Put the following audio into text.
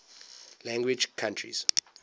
language countries